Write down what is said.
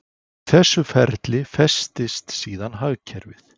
Í þessu ferli festist síðan hagkerfið.